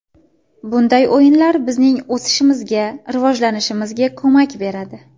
Bunday o‘yinlar bizning o‘sishimizga, rivojlanishimizga ko‘mak beradi.